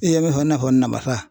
I ye min fɔ i n'a fɔ namasa